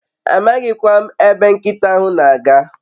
Amaghi kwa m ebe nkita ahu n'aga